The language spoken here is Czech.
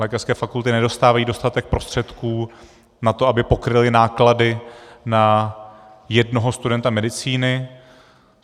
Lékařské fakulty nedostávají dostatek prostředků na to, aby pokryly náklady na jednoho studenta medicíny.